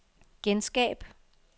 genskab